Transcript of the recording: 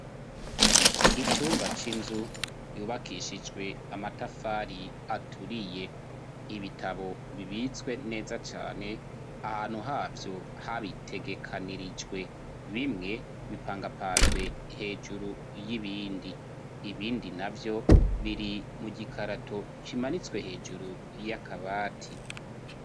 Icumba c'inzu yubakishijwe amatafari aturiye; Ibitabo bibitswe neza cane, ahantu havyo habitegekanirijwe. Bimwe bipangapanzwe hejuru y'ibindi, ibindi navyo biri mu gikarato kimanitswe hejuru y'akabati.